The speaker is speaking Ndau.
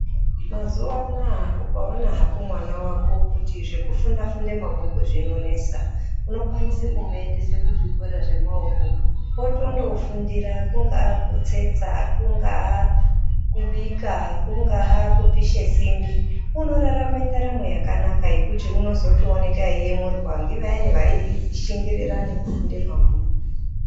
Mazuwa anaa ukaona hako mwana wako kuti zvekufunda funda mabhuku zvinonesa, unokwanisa kumuendesa kuzvikora zvemaoko , otondofundira kungaa kutsetsa , kungaa kubika, kungaa kupishe simbi unorarame ndaramo yakanaka, yekuti unozotooneka eiyemurwa ngevayani vaishingirira nekufunda mabhuku.